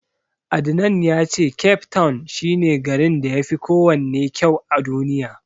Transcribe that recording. Adnan ya ce Cape town shi ne garin da yafi kowanne kysu a Duniya.